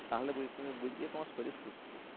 তাহলে তুমি বুঝবে তোমার শরীর সুস্থ